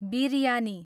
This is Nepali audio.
बिर्यानी